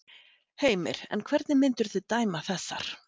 Heimir: En hvernig myndirðu dæma þessar?